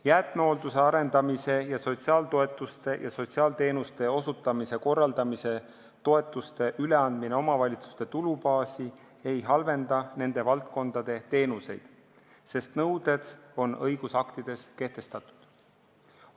Jäätmehoolduse arendamise toetuse ning sotsiaaltoetuste maksmise ja sotsiaalteenuste osutamise toetuse üleandmine omavalitsuste tulubaasi ei halvenda nende valdkondade teenuseid, sest nõuded on õigusaktides kehtestatud.